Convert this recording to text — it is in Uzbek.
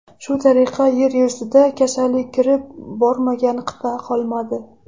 Shu tariqa yer yuzida kasallik kirib bormagan qit’a qolmadi.